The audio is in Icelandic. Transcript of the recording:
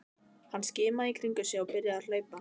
Hann skimaði í kringum sig og byrjaði að hlaupa.